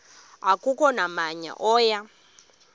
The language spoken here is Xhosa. akukho namnye oya